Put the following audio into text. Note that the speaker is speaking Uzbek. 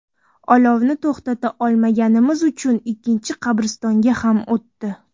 Olovni to‘xtata olmaganimiz uchun ikkinchi qabristonga ham o‘tdi.